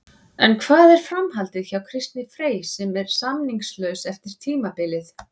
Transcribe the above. En hvað er framhaldið hjá Kristni Frey sem er samningslaus eftir tímabilið?